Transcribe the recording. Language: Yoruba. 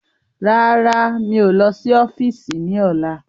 Rárá, mi ò lọ sí ọ́fíìsì ni ọ̀la.